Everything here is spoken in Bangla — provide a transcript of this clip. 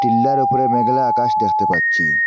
উপরে মেঘলা আকাশ দেখতে পাচ্ছি।